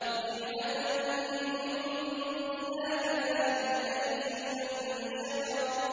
نِّعْمَةً مِّنْ عِندِنَا ۚ كَذَٰلِكَ نَجْزِي مَن شَكَرَ